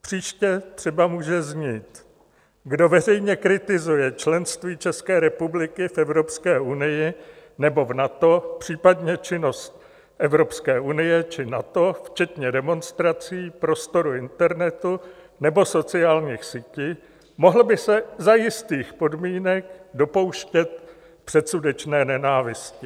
Příště třeba může znít: "Kdo veřejně kritizuje členství České republiky v Evropské unii nebo v NATO, případně činnost Evropské unie či NATO včetně demonstrací, prostoru internetu nebo sociálních sítí, mohl by se za jistých podmínek dopouštět předsudečné nenávisti."